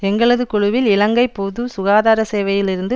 எங்களது குழுவில் இலங்கை பொது சுகாதார சேவையிலிருந்து